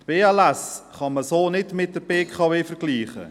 Die BLS AG kann man so nicht mit der BKW AG vergleichen.